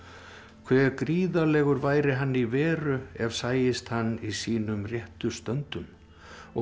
hve gríðarlegur væri hann í veru ef sæist hann í sínum réttu stöndum og